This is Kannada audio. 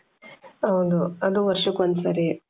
ಹೌದು ಅದು ವರ್ಷಕ್ಕೆ ಒಂದ್ ಸರಿ